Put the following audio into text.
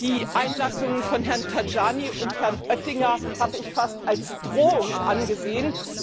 Die Einlassungen von Herrn Tajani und Herrn Oettinger habe ich fast als Drohung angesehen.